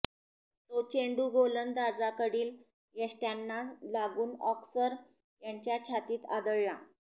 तो चेंडू गोलंदाजाकडील यष्ट्यांना लागून ऑस्कर यांच्या छातीत आदळला